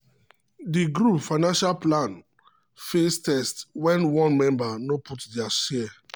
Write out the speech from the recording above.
di group financial plan face test when one member no put their share.